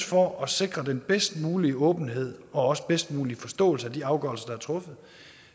for at sikre den bedst mulige åbenhed og også den bedst mulige forståelse af de afgørelser der er truffet